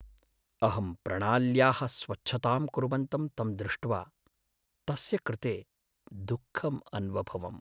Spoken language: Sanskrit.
अहं प्रणाल्याः स्वच्छतां कुर्वन्तं तं दृष्ट्वा, तस्य कृते दुःखम् अन्वभवम्।